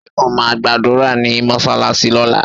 Ṣé o ma gbàdúrà ní mọsalasi lóla?